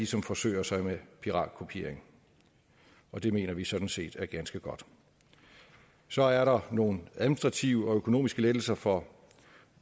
som forsøger sig med piratkopiering og det mener vi sådan set er ganske godt så er der nogle administrative og økonomiske lettelser for